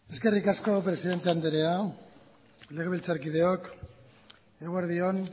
eskerrik asko presidente andrea legebiltzarkideok eguerdi on